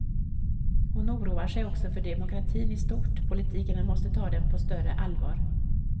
Hon oroar sig också för demokratin i stort, politikerna måste ta den på större allvar.